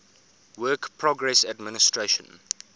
works progress administration